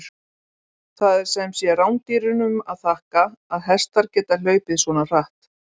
Það er sem sé rándýrunum að þakka að hestar geta hlaupið svona hratt!